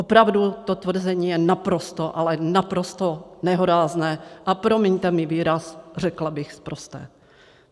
Opravdu to tvrzení je naprosto, ale naprosto nehorázné, a promiňte mi výraz, řekla bych sprosté.